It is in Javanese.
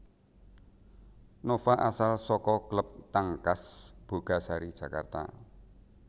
Nova asal saka klub Tangkas Bogasari Jakarta